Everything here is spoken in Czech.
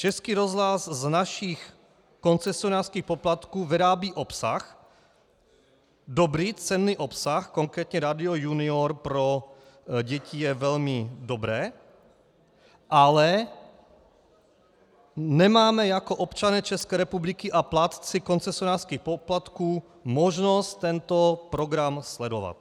Český rozhlas z našich koncesionářských poplatků vyrábí obsah, dobrý, cenný obsah, konkrétně Rádio Junior pro děti je velmi dobré, ale nemáme jako občané České republiky a plátci koncesionářských poplatků možnost tento program sledovat.